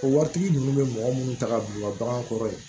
O waritigi ninnu bɛ mɔgɔ minnu ta ka don u ka bagan kɔrɔ yen